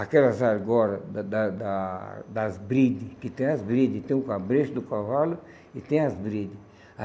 Aquelas argolas da da da das brides, que tem as brides, tem o cabresto do cavalo e tem as brides.